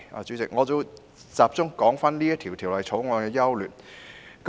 主席，我會集中說《條例草案》的優劣。